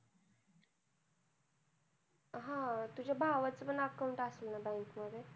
हा. तुझ्या भावाचं पण account असेल ना bank मध्ये?